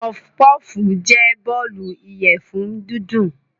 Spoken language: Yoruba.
Puffpuff jẹ́ bọ́ọ̀lù ìyẹ̀fun dídùn.